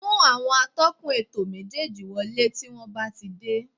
Mú àwọn atọ́kùn ètò méjéèjì wọlé tí wọ́n bá ti dé